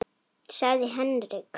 sagði Henrik.